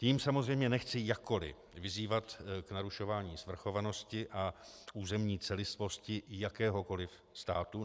Tím samozřejmě nechci jakkoliv vyzývat k narušování svrchovanosti a územní celistvosti jakéhokoliv státu.